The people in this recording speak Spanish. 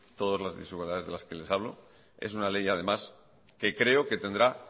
todas las desigualdades de las que les hablo es una ley además que creo que tendrá